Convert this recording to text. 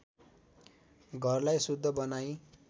घरलाई शुद्ध बनाई